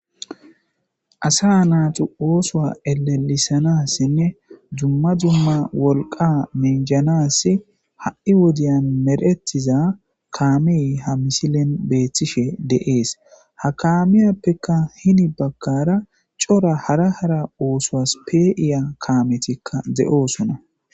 Asa naaxu oosoa elelisanassinne jumma dumma wolqa menjanas ha7i wodiyan meretiza kaamey ha misilen beethtishe de'ees ha kaamiyappekka hini bakkara cora hara hara oosoas pe iya kaametikka de'osona.